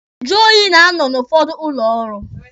Njụ oyi na-anọ n'ụfọdụ ụlọ ọrụ.